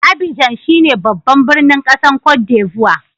Abidjan shine babban birnin kasan Cote D'Ivoire.